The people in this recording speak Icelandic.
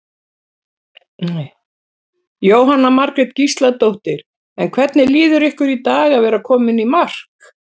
Jóhanna Margrét Gísladóttir: En hvernig líður ykkur í dag að vera komin í mark?